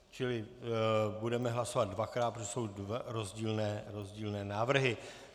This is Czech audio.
Čili budeme hlasovat dvakrát, protože jsou to rozdílné návrhy.